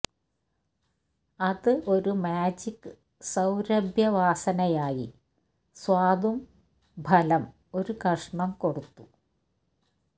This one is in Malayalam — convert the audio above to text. അത് ഒരു മാജിക് സൌരഭ്യവാസനയായി സ്വാദും ഫലം ഒരു കഷണം കൊടുത്തു